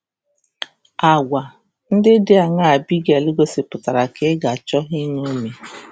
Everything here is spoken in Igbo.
Agwa ndị dị aṅaa Abigail gosipụtara ka ị ga-achọ iṅomi?